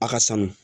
A ka sanu